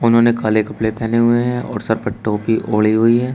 उन्होंने काले कपड़े पहने हुए हैं और सर प टोपी ओढ़े हुई है।